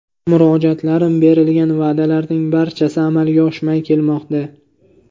Murojaatlarim, berilgan va’dalarning barchasi amalga oshmay kelmoqda.